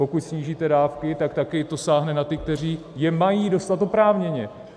Pokud snížíte dávky, tak taky to sáhne na ty, kteří je mají dostat oprávněně.